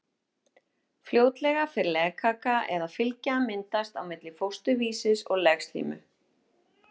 Fljótlega fer legkaka eða fylgja að myndast á milli fósturvísis og legslímu.